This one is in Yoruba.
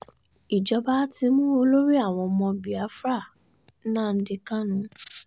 ìjọba ti mú olórí àwọn ọmọ biafra um nnamdi kanu